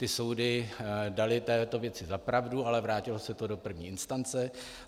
Ty soudy daly této věci za pravdu, ale vrátilo se to do první instance.